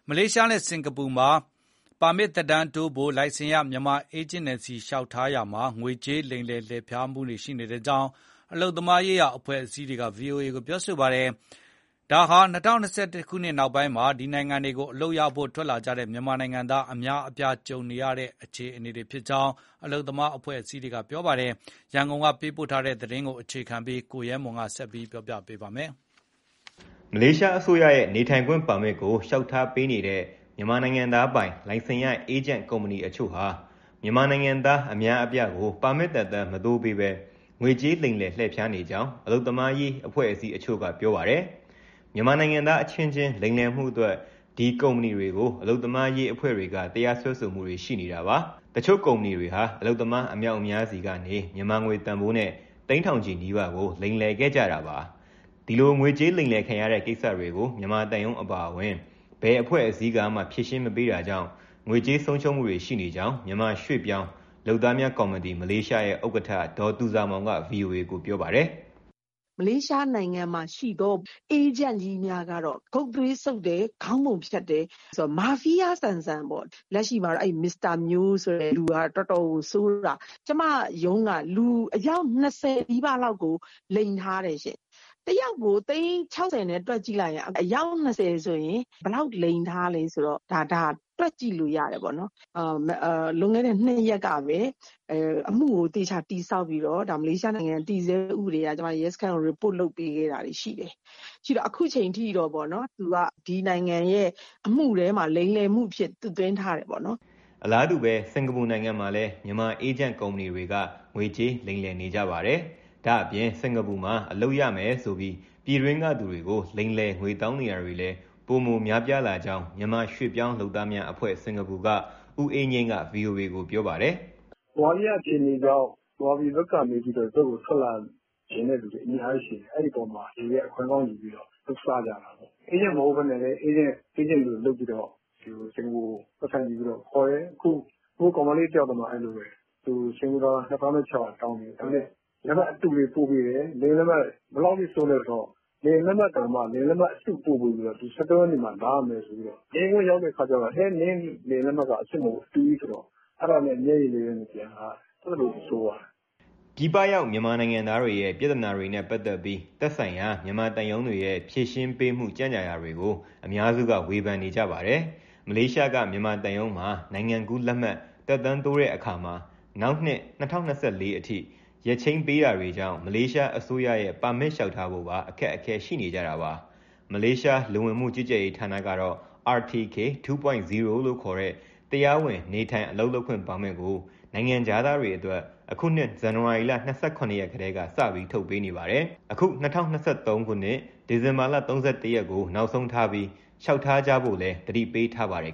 မလေးရှားနဲ့ စင်္ကာပူမှာ ပါမစ်သက်တမ်းတိုးဖို့ လိုင်စင်ရ မြန်မာအေးဂျင့်တွေဆီ လျှောက်ထားတာမှာ ငွေကြေးလိမ်လည် လှည့်ဖြားမှုတွေ ရှိနေကြောင်း အလုပ်သမားရေးရာ အဖွဲ့အစည်းတွေက ဗွီအိုအေကို ပြောပါတယ်။ ဒါဟာ ၂၀၂၁နောက်ပိုင်းမှာ ဒီနိုင်ငံတွေကို အလုပ်ရဖို့ ထွက်လာကြတဲ့ မြန်မာနိုင်ငံသား အများအပြား ကြုံနေရတဲ့ အခြေအနေဖြစ်ကြောင်း အလုပ်သမားအဖွဲ့အစည်းတွေက ပြောပါတယ်။ ရန်ကုန်ကပေးပို့လာတဲ့ သတင်းပေးပို့ချက်ကို အခြေခံပြီး ကိုရဲမွန်က ပြောပြမှာပါ။ မလေးရှားအစိုးရရဲ့ နေထိုင်ခွင့်ပါမစ်ကို လျှောက်ထားပေးနေတဲ့ မြန်မာနိုင်ငံသားပိုင် လိုင်စင်ရ အေးဂျင့်ကုမ္ပဏီတချို့ဟာ မြန်မာနိုင်ငံသား အများအပြားကို ပါမစ်သက်တမ်း မတိုးပေးဘဲ ငွေကြေးလိမ်လည် လှည့်ဖြားနေကြောင်း အလုပ်သမားရေး အဖွဲ့အစည်းတချို့က ပြောပါတယ်။ မြန်မာနိုင်ငံသားအချင်းချင်း လိမ်လည်မှုအတွက် ဒီကုမ္ပဏီတွေကို အလုပ်သမားရေး အဖွဲ့တွေက တရားစွဲဆိုမှုတွေ ရှိနေတာပါ။ တချို့ ကုမ္ပဏီတွေဟာ အလုပ်သမား အမြောက်အများဆီကနေ မြန်မာငွေ သိန်းထောင်ချီနီးပါးကို လိမ်လည်ခဲ့ကြတာပါ။ ဒီလို ငွေကြေးလိမ်လည် ခံရတဲ့ကိစ္စတွေကို မြန်မာသံရုံးအပါအဝင် ဘယ်အဖွဲ့အစည်းကမှ ဖြေရှင်းမပေးတာကြောင့် ငွေကြေးဆုံးရှုံးမှုတွေ ရှိနေကြောင်း မြန်မာရွှေ့ပြောင်း လုပ်သားများကော်မတီ (မလေးရှား)ရဲ့ ဥက္ကဋ္ဌ ဒေါ်သူဇာမောင်က ဗွီအိုအေကို ပြောပါတယ်။ "မလေးရှားနိုင်ငံမှာရှိသော အေးဂျင့်ကြီးများကတော့ ဂုတ်သွေးစုပ်တယ်၊ ခေါင်းပုံဖြတ်တယ်၊ မာဖီးယားဆန်ဆန်ပေါ့။ လက်ရှိမှာ Mr. Myo ဆိုတဲ့သူက တော်တော်ဆိုးတာ။ ကျမရုံးက လူအယောက်၂၀နီးပါးလောက်ကို လိမ်ထားတယ်။ တယောက်ကို သိန်း ၆၀နဲ့ တွက်ကြည့်လိုက်ရင် ဘယ်လောက်လိမ်ထားလဲ တွက်ကြည့်လို့ရတယ်။ လွန်ခဲ့တဲ့၂ရက်ကပဲ အမှုကို သေချာတည်ဆောက်ပြီး မလေးရှားနိုင်ငံ တည်ဆဲဥပဒေအရ ရဲစခန်းကို Report လုပ်ပေးခဲ့တယ်။ အခုအချိန်ထိတော့ ဒီနိုင်ငံရဲ့အမှုမှာ လိမ်လည်မှုအဖြစ် သွတ်သွင်းထားတယ်ပေါ့။" အလားတူ စင်္ကာပူနိုင်ငံမှာလည်း မြန်မာ အေးဂျင့်ကုမ္ပဏီတွေက ငွေကြေး လိမ်လည်နေကြပါတယ်။ ဒါ့အပြင် စင်္ကာပူမှာ အလုပ်ရမယ်ဆိုပြီး ပြည်တွင်းကလူတွေကို လိမ်လည် ငွေတောင်းနေတာတွေလည်း ပိုမို များပြားလာကြောင်း မြန်မာ ရွှေ့ပြောင်းလုပ်သားများအဖွဲ့ (စင်္ကာပူ) က ဦးအေးငြိမ်းက ဗွီအိုအေကို ပြောပါတယ်။ "ဗမာပြည်က အခြေအနေတွေကြောင့် ဗမာပြည်ကနေ ဒီဘက်ကို ထွက်လာချင်တဲ့သူတွေ အများကြီးရှိတယ်။ အဲဒီအပေါ်မှာ လူတွေက အခွင့်ကောင်းယူပြီးတော့ လုပ်စားကြတာ။ အေးဂျင့်မဟုတ်ဘဲ အေးဂျင့်လိုလုပ်ပြီးတော့ စင်္ကာပူကို ပိုက်ဆံယူပြီး ခေါ်တယ်၊ ကောင်မလေးတယောက်တောင် စင်္ကာပူဒေါ်လာ ၂၆၀၀ (ကျပ်သိန်း၄၀ကျော်) တောင်းတယ်၊ ဘယ်လောက်အထိ ဆိုးလဲဆိုတော့ လေယာဉ်လက်မှတ်အတု ပို့ပေးပြီးတော့ ၁၃ရက်မှာ လာရမယ်ဆိုပြီးတော့။ လေယာဉ်ကွင်းရောက်တော့ နင့်လေယာဉ်လက်မှတ်က အတုကြီးဆိုတော့ အဲဒါနဲ့ မျက်ရည်လေးနဲ့ ပြန်လာရတယ်။" ပြည်ပရောက် မြန်မာနိုင်ငံသားတွေရဲ့ ပြဿနာတွေနဲ့ ပတ်သက်ပြီး သက်ဆိုင်ရာ မြန်မာသံရုံးတွေရဲ့ ဖြေရှင်းပေးမှု ကြန့်ကြာတာတွေကို အများစုက ဝေဖန်နေကြပါတယ်။ မလေးရှားက မြန်မာသံရုံးမှာ နိုင်ငံကူးလက်မှတ် သက်တမ်းတိုးတဲ့အခါမှာ နောက်နှစ် ၂၀၂၄အထိ ရက်ချိန်းပေးတာတွေကြောင့် မလေးရှားအစိုးရရဲ့ ပါမစ်လျှောက်ထားဖို့ပါ အခက်အခဲရှိနေကြတာပါ။ မလေးရှား လူဝင်မှုကြီးကြပ်ရေး ဌာနကတော့ RTK 2.0 လို့ခေါ်တဲ့ တရားဝင် နေထိုင်၊ အလုပ်လုပ်ခွင့် ပါမစ်ကို နိုင်ငံခြားသားတွေအတွက် အခုနှစ် ဇန်နဝါရီ ၂၇ရက်ကစပြီး ထုတ်နေပေးပါတယ်။ အခု ၂၀၂၃ ဒီဇင်ဘာလ ၃၁ရက် နောက်ဆုံးထားပြီး လျှောက်ထားကြဖို့လည်း သတိပေးထားပါတယ်